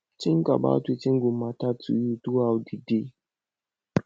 think about wetin go matter to you throughout di day